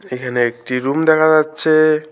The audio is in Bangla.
এখানে একটি রুম দেখা যাচ্ছে।